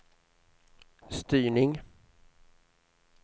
styrning